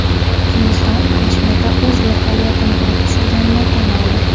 Hindiston Kashmirda o‘z vertolyotini urib tushirganini tan oldi.